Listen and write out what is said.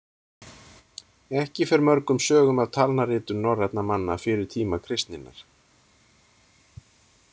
Ekki fer mörgum sögum af talnaritun norrænna manna fyrir tíma kristninnar.